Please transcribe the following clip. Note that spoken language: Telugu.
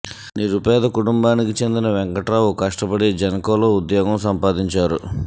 నిరుపేద కుటుంబానికి చెందిన వెంకటరావు కష్టపడి జెన్ కోలో ఉద్యోగం సంపాదించారు